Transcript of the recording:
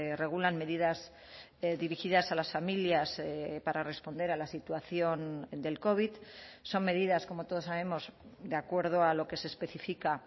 regulan medidas dirigidas a las familias para responder a la situación del covid son medidas como todos sabemos de acuerdo a lo que se especifica